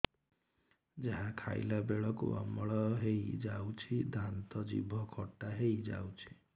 ଯାହା ଖାଇଲା ବେଳକୁ ଅମ୍ଳ ହେଇଯାଉଛି ଦାନ୍ତ ଜିଭ ଖଟା ହେଇଯାଉଛି